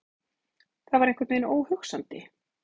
Það var einhvern veginn óhugsandi.